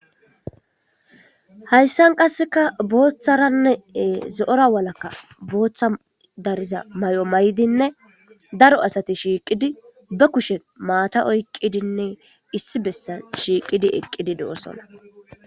hayssan qasseka booththaranneee zo7ora walakka booththa dariza may7o may7dinne daro asati shiiqidi be kushen maata oyqqidinne issi bessan shiiqidi eqqidi do7osona